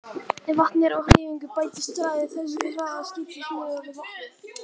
Ef vatnið er á hreyfingu bætist hraði þess við hraða skipsins miðað við vatnið.